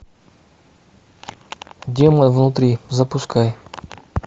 демон внутри запускай